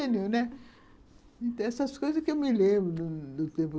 Então, essas coisas que eu me lembro do tempo.